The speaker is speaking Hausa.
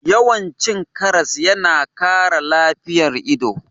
Yawan cin karas yana kara lafiyan ido.